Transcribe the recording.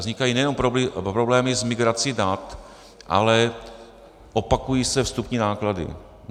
Vznikají nejenom problémy s migrací dat, ale opakují se vstupní náklady.